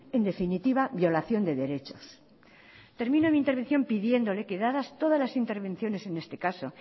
en definitiva violación de derechos termino mi intervención pidiéndole que dadas todas las intervenciones en este caso